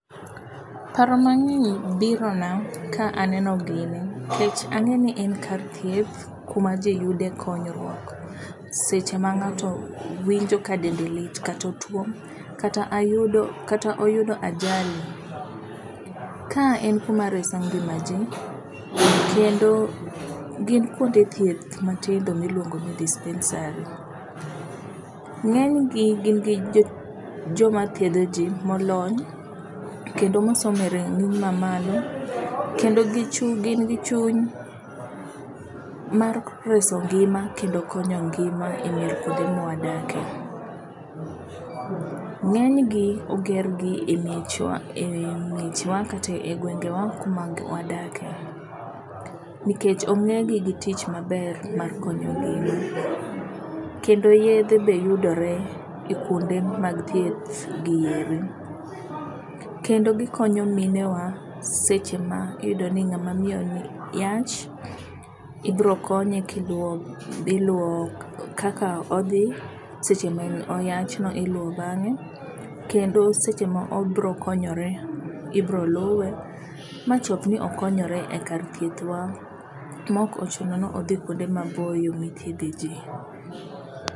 Paro mang'eny biro na ka aneno gini nikech ang'e ni en kar thieth kuma ji yude konyruok seche ma ng'ato winjo ka dende lit kata otuo. Kata ayudo oyudo ajali. Ka en kuma reso ngima ji kendo gin kuonde thieth matindo miluongo ni dispensary. Ng'eny gi gin gi joma thiedho ji molony kendo mosomo e rang'iny mamalo. Kendo gin gi chuny mar reso ngima kendo konyo ngima e mier kuonde mwadakie. Ngeny gi oger gi e miechwa e yi miechwa kata e gwenge wa kuma wadakie. Nikech onge gi gi tich maber mar konyo ngima. Kendo yedhe be yudore e kuonde mag thieth gi eri. Kendo gikonyo minewa seche ma iyudo ni ng'ama miyo ni yach ibiro konye kaka odhi seche ma oyach no iluwo bang'e. Kendo seche mobirokonyore ibiro luwe ma chop ni okonyore ekar thieth wa ma ok ochuno ni odhi kuonde maboyo mithiedhe ji.